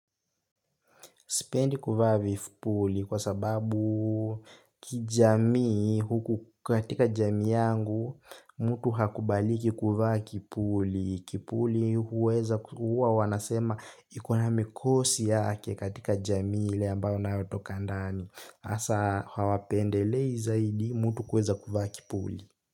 Sipendi kuvaa vipuli kwa sababu kijamii huku katika jamii yangu mtu hakubaliki kuvaa kipuli. Kipuli huweza kuwa wanasema iko na mikosi yake katika jamii ile ambayo unayotoka ndani hasa hawapendelei zaidi mtu kuweza kuvaa kipuli.